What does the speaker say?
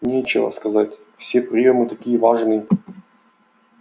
нечего сказать все приёмы такие важные